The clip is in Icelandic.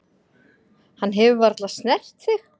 Hann hefur varla snert þig.